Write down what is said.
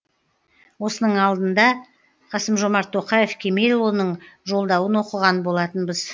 осының алдында қасым жомарт тоқаев кемелұлының жолдауын оқыған болатынбыз